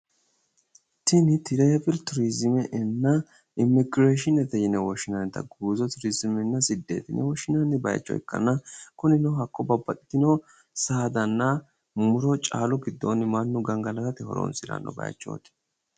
Tini Turizime babbaxitinotta leelishanna muro nootera gangalatanni caalle nootta leelishano bayiichoti